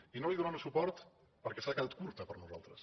i no hi donarem suport perquè s’ha quedat curta per nosaltres